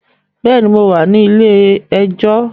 Bẹ́ẹ̀ni, mo wà ní ilé ẹjọ́